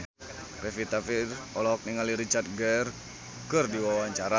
Pevita Pearce olohok ningali Richard Gere keur diwawancara